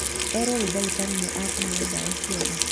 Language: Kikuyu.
Erũo nĩ dagĩtarĩ nĩ ekũheo dawa ciothe